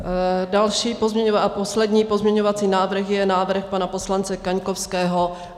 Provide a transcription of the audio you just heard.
Další a poslední pozměňovací návrh je návrh pana poslance Kaňkovského.